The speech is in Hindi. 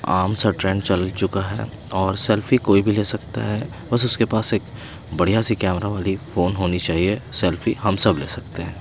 आम सा ट्रेंड चल चुका है और सेल्फी कोई भी ले सकता है बस उसके पास एक बढ़िया सी कैमरा वाली फोन होनी चाहिए सेल्फी हम सब ले सकते हैं।